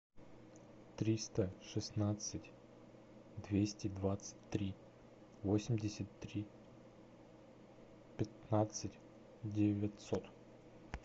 триста шестнадцать двести двадцать три восемьдесят три пятнадцать девятьсот